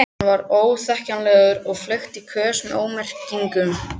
Hann var óþekkjanlegur og fleygt í kös með ómerkingum.